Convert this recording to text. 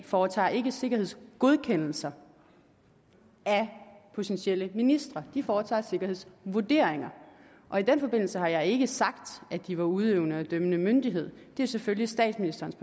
foretager ikke sikkerhedsgodkendelser af potentielle ministre de foretager sikkerhedsvurderinger og i den forbindelse har jeg ikke sagt at de var udøvende og dømmende myndighed det er selvfølgelig statsministerens